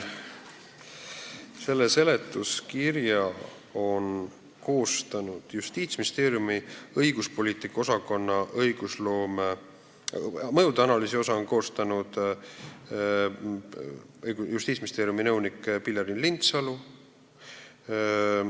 Selle seletuskirja on koostanud Justiitsministeeriumi õiguspoliitika osakonna eraõiguse talitus, mõjude analüüsi osa on koostanud Justiitsministeeriumi nõunik Pilleriin Lindsalu.